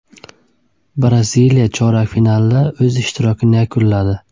Braziliya chorak finalda o‘z ishtirokini yakunladi.